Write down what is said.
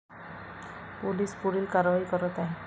Police पुढील कारवाई करत आहे.